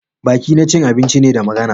Baki na cin abinci ne, da magana.